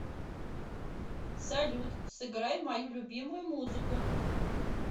салют сыграй мою любимую музыку